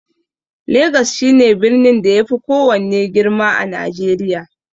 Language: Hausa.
Legas shi ne birnin da ya fi kowanne girma a najeriya